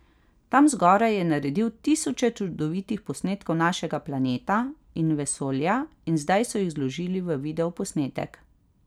Tam zgoraj je naredil tisoče čudovitih posnetkov našega planeta in vesolja in zdaj so jih zložili v videoposnetek.